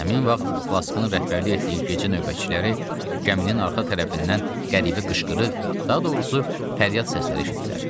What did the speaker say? Həmin vaxt Flaskın rəhbərlik etdiyi gecə növbətçiləri gəminin arxa tərəfindən qəribə qışqırıq, daha doğrusu fəryad səsləri eşitdilər.